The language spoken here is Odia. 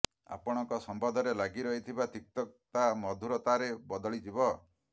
ଆପଣଙ୍କ ସମ୍ବନ୍ଧରେ ଲାଗି ରହିଥିବା ତିକ୍ତତା ମଧୁରତାରେ ବଦଳି ଯିବ